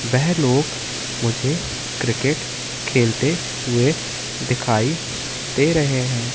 वेह लोग मुझे क्रिकेट खेलते हुए दिखाई दे रहे हैं।